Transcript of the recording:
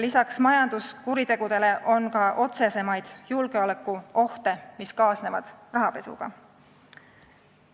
Lisaks majanduskuritegudele on ka otsesemaid julgeolekuohte, mis rahapesuga kaasnevad.